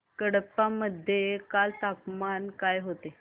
कडप्पा मध्ये काल तापमान काय होते